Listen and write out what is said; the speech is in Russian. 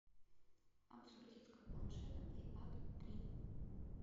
обзор детского планшета плей пад три